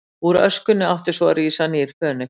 Úr öskunni átti svo að rísa nýr Fönix.